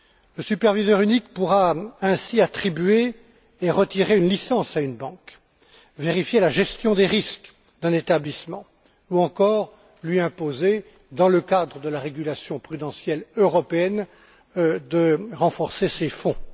Le superviseur unique pourra ainsi attribuer et retirer une licence à une banque, vérifier la gestion des risques d'un établissement ou encore lui imposer, dans le cadre de la régulation prudentielle européenne, de renforcer ses fonds.